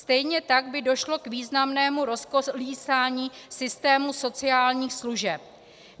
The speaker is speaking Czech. Stejně tak by došlo k významnému rozkolísání systému sociálních služeb.